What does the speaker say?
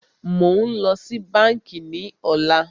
Mó ń lọ sí bánkì ní ọ̀lá.